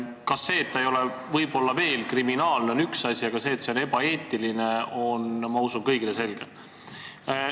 Üks asi on see, et see ei ole võib-olla kriminaalne, aga ma usun, et selle ebaeetilisus on kõigile selge.